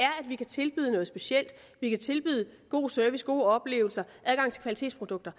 vi kan tilbyde noget specielt vi kan tilbyde god service gode oplevelser adgang til kvalitetsprodukter